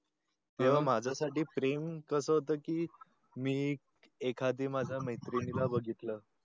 तेव्हा माझ्या साठी प्रेम कस होत कि मी एखादी माझ्या मेत्रींनी ला बघितलं